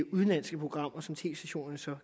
udenlandske programmer som tv stationerne så